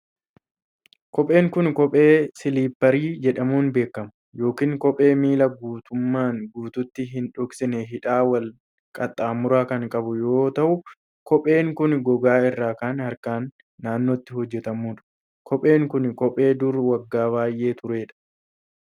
Kopheen kun, kophee siliipparii jedhamuun beekamu yokin kophee miila guutumaan guututti hin dhoksine hidhaa wal qaxxaamuraa kan qabu yoo ta'u, kopheen kun gogaa irraa harkaan naannootti hojjatame dha. Kopheen kun, kophee durii waggaa baay'ee turee dha.